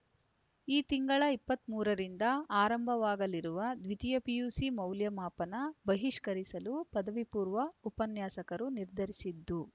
ಈ ತಿಂಗಳ ಇಪ್ಪತ್ತ್ ಮೂರರಿಂದ ಆರಂಭವಾಗಲಿರುವ ದ್ವಿತೀಯ ಪಿಯುಸಿ ಮೌಲ್ಯಮಾಪನ ಬಹಿಷ್ಕರಿಸಲು ಪದವಿಪೂರ್ವ ಉಪನ್ಯಾಸಕರು ನಿರ್ಧರಿಸಿದ್ದು